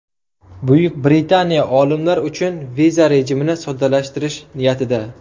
Buyuk Britaniya olimlar uchun viza rejimini soddalashtirish niyatida.